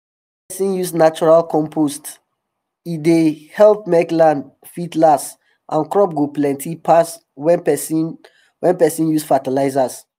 if person use natural compost e dey help make land fit last and crops go plenty pass wen person wen person use fertilizers